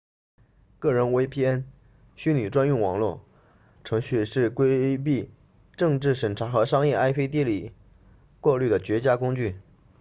个人 vpn 虚拟专用网络程序是规避政治审查和商业 ip 地理过滤的绝佳工具